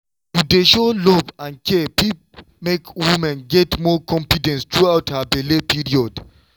to dey show love and care fit make woman get more confidence throughout her belle period.